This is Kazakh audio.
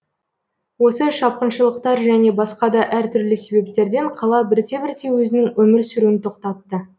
осы шапқыншылықтар және басқа да әр түрлі себептерден қала бірте бірте өзінің өмір сүруін тоқтатты